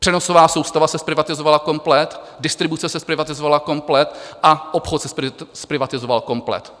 Přenosová soustava se zprivatizovala komplet, distribuce se zprivatizovala komplet a obchod se zprivatizoval komplet.